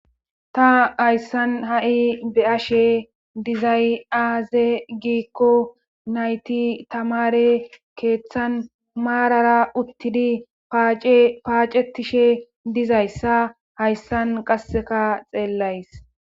Ta hayssan ha,i be ashe dizay,aaze giikko nayti tamare keeththan maarara uttidi paacetishe dizayssa hayssan qasseka xeellays.